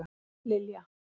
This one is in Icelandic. Lilja